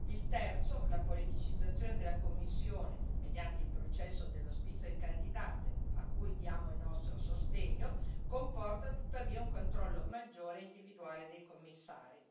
Il terzo la politicizzazione della Commissione mediante il processo dello Spitzenkandidat a cui diamo il nostro sostegno, comporta tuttavia un controllo maggiore e individuale dei Commissari.